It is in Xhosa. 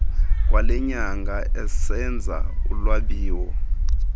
kwalenyanga esenza ulwabiwo